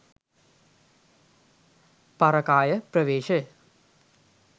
පරකාය ප්‍රවේශය